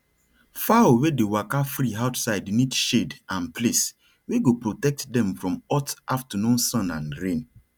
fowl wey dey waka free outside need shade and place wey go protect dem from hot afternoon sun and rain